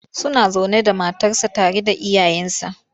Suna zaune da matarsa tare da iyayensa.